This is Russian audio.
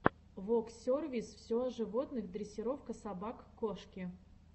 воксервис все о животных дрессировка собак кошки